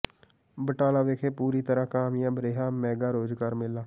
ਬਟਾਲਾ ਵਿਖੇ ਪੂਰੀ ਤਰਾਂ ਕਾਮਯਾਬ ਰਿਹਾ ਮੈਗਾ ਰੋਜ਼ਗਾਰ ਮੇਲਾ